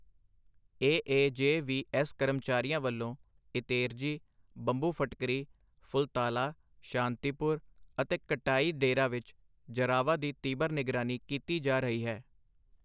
A A J V S ਕਰਮਚਾਰੀਆਂ ਵੱਲੋਂ ਇਤੇਰਜੀ, ਬੰਬੂ-ਫ਼ਟਿਕਰੀ, ਫੁਲਤਾਲਾ, ਸ਼ਾਂਤੀਪੁਰ ਅਤੇ ਕਟਾਈ-ਡੇਰਾ ਵਿੱਚ ਜਰਾਵਾ ਦੀ ਤੀਬਰ ਨਿਗਰਾਨੀ ਕੀਤੀ ਜਾ ਰਹੀ ਹੈ।